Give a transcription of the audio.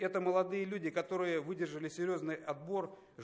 это молодые люди которые выдержали серьёзный отбор